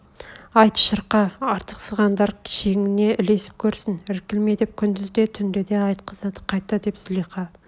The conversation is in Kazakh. айт шырқа артықсығандар шеніңе лесіп көрсін іркілме деп күндіз де түнде де айтқызады қайта деп злиха